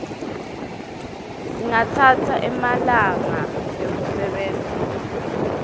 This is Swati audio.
singatsatsa emalanga ekusebenta